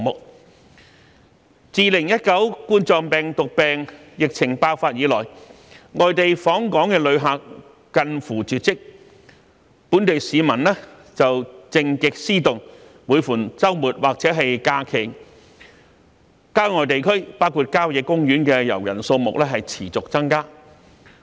自2019冠狀病毒病疫情爆發以來，外地訪港旅客近乎絕跡，本地市民卻靜極思動，每逢周末或假期，郊外地區包括郊野公園的遊人數目持續增加。